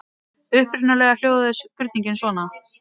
Upprunalega hljóðaði spurningin svona: